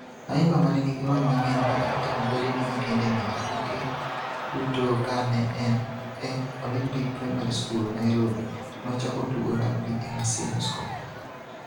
Ayimba ma ne nigi lony mang'eny, ma ne otemo bedene gi tiendene e tuke duto ka ne en e Olympic Primary School, Nairobi, nochako tugo rugby e Maseno School.